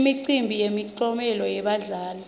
imicimbi yemiklomelo yebadlali